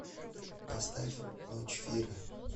поставь ночь фира